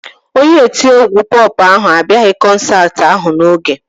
Onye otiegwu pọp ahụ abịaghị kọnsaati ahụ n'oge